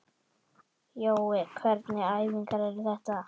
Jói, hvernig æfingar eru þetta?